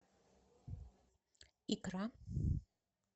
икра